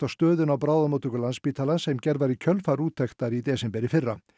stöðunni á bráðamóttöku Landspítalans sem gerð var í kjölfar úttektar í desember í fyrra